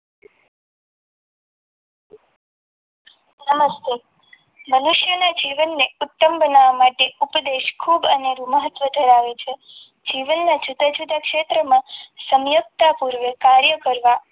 નમસ્તે મનીષ મનુષ્યના જીવનને ઉત્તમ બનાવવા માટે ઉપદેશ ખૂબ અનેરૂ મહત્વ ધરાવે છે જીવનના જુદા જુદા ક્ષેત્રોમાં સંયુક્ત પૂર્વ કાર્ય કરવા.